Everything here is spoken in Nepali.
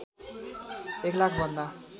एक लाख भन्दा